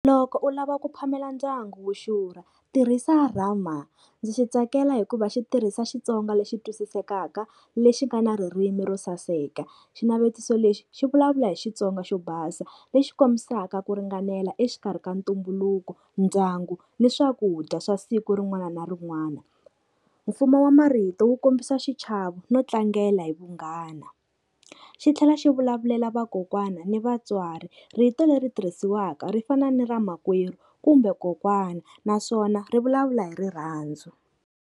Loko u lava ku phamela ndyangu wu xurha tirhisa rama. Ndzi xi tsakela hikuva xi tirhisa Xitsonga lexi twisisekaka lexi nga na ririmi ro saseka. Xinavetiso lexi xi vulavula hi Xitsonga xo basa lexi kombisaka ku ringanela exikarhi ka ntumbuluko, ndyangu ni swakudya swa siku rin'wana na rin'wana. Mfumo wa marito wu kombisa xichavo no tlangela hi vunghana. Xi tlhela xi vulavulela vakokwana ni vatswari, rito leri tirhisiwaka ri fana ni ra makwerhu kumbe kokwana naswona ri vulavula hi rirhandzu.